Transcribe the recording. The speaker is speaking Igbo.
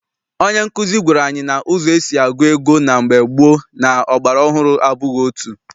Onye nkuzi gwara anyị na ụzọ esi agụ ego na mgbe gboo na ọgbara ọhụrụ abụghị otu.